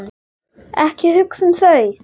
Ekki hugsa um þau!